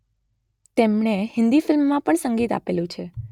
તેમણે હિન્દી ફિલ્મમા પણ સંગીત આપેલુ છે